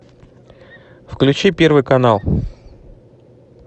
включи первый канал